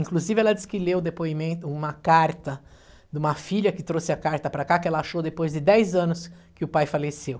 Inclusive, ela disse que leu o depoimento, uma carta de uma filha que trouxe a carta para cá, que ela achou depois de dez anos que o pai faleceu.